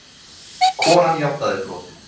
Konan játaði brotið